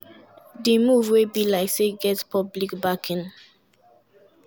di move wey be like say get public backing.